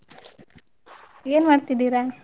N ಮಾಡ್ತಿದೀರಾ?